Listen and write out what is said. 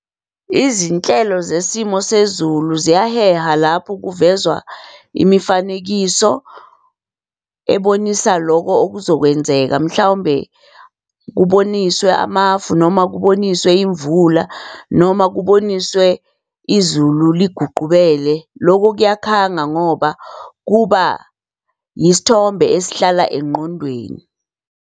Izinhlelo zesimo sezulu ziyaheha lapho kuvezwa imifanekiso ebonisa loko okuzokwenzeka mhlawumbe kuboniswe amafu, noma kuboniswe imvula, noma kuboniswe izulu liguqubele. Loko kuyakhanga ngoba kuba isithombe esihlala engqondweni.